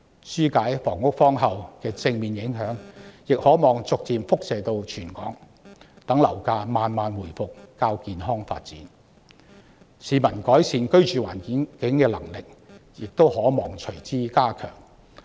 紓解房屋荒後的正面影響亦可望逐漸延伸至全港，讓樓市慢慢回復較健康的發展，市民改變居住環境的能力因而隨之加強。